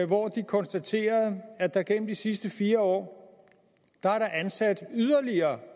hvor de konstaterede at der gennem de sidste fire år er ansat yderligere